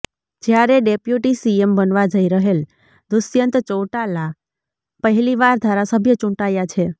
જ્યારે deputy CM બનવા જઈ રહેલ દુષ્યંત ચૌટાલા પહેલીવાર ધારાસભ્ય ચૂંટાયા છે